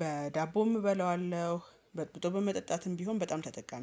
በዳቦም እበላዋለሁ፣ በጥብጦ በመጠጣትም ቢሆን በጣም ተጠቃሚ